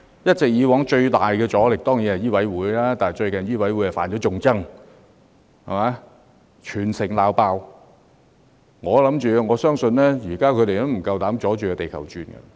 以往最大的阻力來自香港醫務委員會，但最近醫委會"犯眾憎"，被全城責罵，我相信他們現在不敢再"阻住地球轉"。